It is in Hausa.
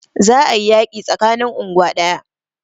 Za a yi yaƙi tsakanin unguwa ɗaya